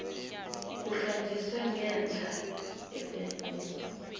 kuhlanjiswa ngenhla emnyanyeni